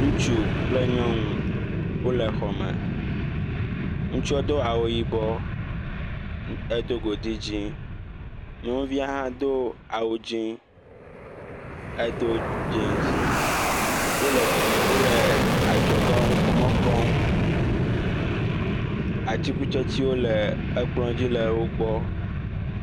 ŋutsu kple nyɔnu wo le xɔme, ŋutsua do awu yibɔ, edo godi dzĩ, nyɔnvia ha do awudzĩ edo dzins, wo le adzɔge ŋkpɔmɔ kpɔm, atikutsetsewo le ekplɔ̃dzi le wo gbɔ.